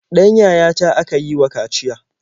Ɗan yayata aka yi wa kaciya.